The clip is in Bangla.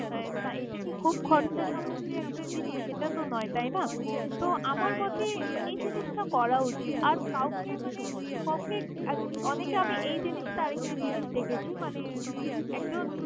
তা এটা কি খুব খরচা সামদি একটা জিনিস? সেটা তো নয়! তাই না? তো আমার মতে এই জিনস করা উচিত আর কাউকে মানে কেউকে আর অনেকে আমি এই জিনিসটা আরেকটা জিনিস দেখেছি মানে একজন।